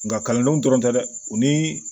Nka kalandenw dɔrɔn tɛ dɛ u ni